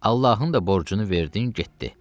Allahın da borcunu verdin, getdi.